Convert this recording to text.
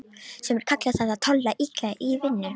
Sumir kalla það að tolla illa í vinnu.